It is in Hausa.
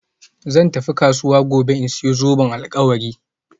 Zan tafi kasuwa gobe in sayi zoben alkawari